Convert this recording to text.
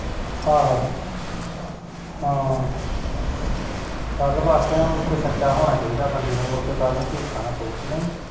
ਆਹੋ ਹਾਂ ਗਲ ਵਾਕਿਆ ਸਚਾ ਹੋਣਾ ਚਾਹੀਦਾ ਬੰਦੇ ਨੂੰ ਕਾਲ ਨੂੰ ਝੂਠਾ ਨਹੀਂ ਪਊ ਕੇ ਨਹੀਂ